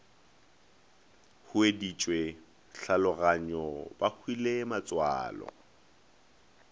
hueditšwe tlhaologanyo ba hwile matswalo